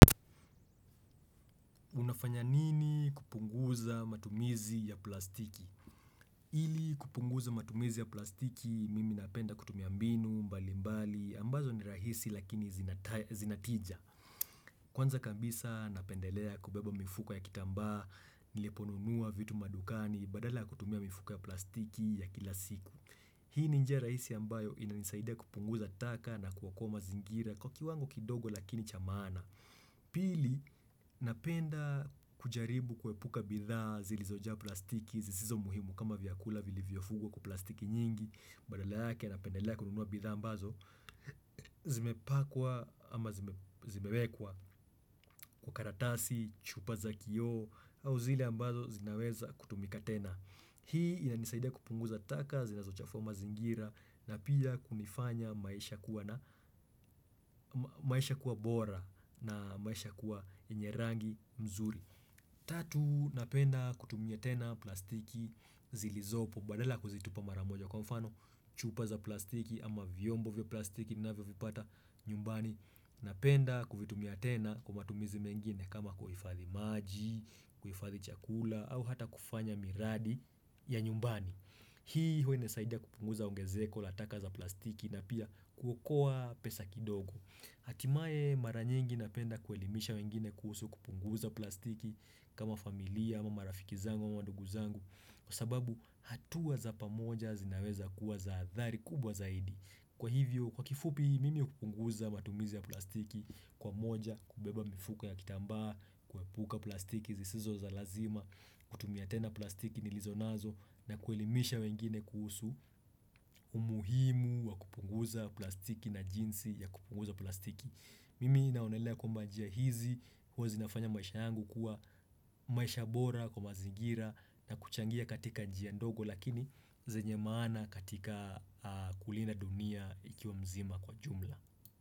Unafanya nini kupunguza matumizi ya plastiki? Ili kupunguza matumizi ya plastiki, mimi napenda kutumia mbinu mbalimbali, ambazo ni rahisi lakini zinatija. Kwanza kabisa napendelea kubeba mifuko ya kitambaa, niliponunua vitu madukani, badala kutumia mifuko ya plastiki ya kila siku. Hii ni njia rahisi ambayo inanisaidia kupunguza taka na kuokoa mazingira kwa kiwango kidogo lakini cha maana. Pili, napenda kujaribu kuepuka bidhaa zilizojaa plastiki zisizo muhimu kama vyakula vilivyofungwa kwa plastiki nyingi, badala yake napendelea kununua bidhaa ambazo, zimepakwa ama zimewekwa kwa karatasi, chupa za kioo au zile ambazo zinaweza kutumika tena. Hii inanisaidia kupunguza taka zinazochafua mazingira na pia kunifanya maisha kuwa bora na maisha kuwa yenye rangi mzuri Tatu napenda kutumia tena plastiki zilizopo badala ya kuzitupa mara moja kwa mfano chupa za plastiki ama vyombo vya plastiki ninavyovipata nyumbani Napenda kuvitumia tena kwa matumizi mengine kama kuhifadhi maji, kuhifadhi chakula au hata kufanya miradi ya nyumbani Hii huwa inasaidia kupunguza ongezeko la taka za plastiki na pia kuokoa pesa kidogo Hatimaye mara nyingi napenda kuelimisha wengine kuhusu kupunguza plastiki kama familia ama marafiki zangu ama madugu zangu Kwa sababu hatua za pamoja zinaweza kuwa za athari kubwa zaidi Kwa hivyo kwa kifupi mimi hupunguza matumizi ya plastiki kwa moja kubeba mifuko ya kitambaa kuepuka plastiki zisizo za lazima kutumia tena plastiki nilizo nazo na kuelimisha wengine kuhusu umuhimu wa kupunguza plastiki na jinsi ya kupunguza plastiki. Mimi naonelea kwamba njia hizi huwa zinafanya maisha yangu kuwa maisha bora kwa mazingira na kuchangia katika njia ndogo lakini zenye maana katika kulinda dunia ikiwa mzima kwa jumla.